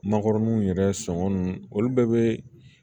Nakɔrɔnin yɛrɛ sɔngɔ nunnu olu bɛɛ be